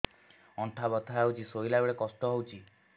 ଅଣ୍ଟା ବଥା ହଉଛି ଶୋଇଲା ବେଳେ କଷ୍ଟ ହଉଛି